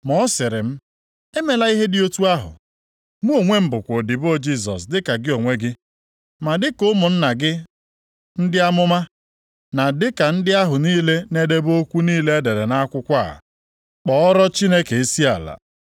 Ma ọ sịrị m, “Emela ihe dị otu ahụ! Mụ onwe m bụkwa odibo Jisọs dịka gị onwe gị, na dịka ụmụnna gị ndị amụma, na dịka ndị ahụ niile na-edebe okwu niile e dere nʼakwụkwọ a. Kpọọrọ Chineke isiala.”